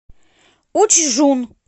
учжун